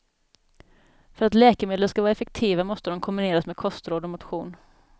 För att läkemedel ska vara effektiva måste de kombineras med kostråd och motion.